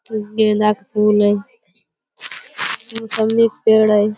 गेंदा का फूल है मौसम्मी का पेड़ है।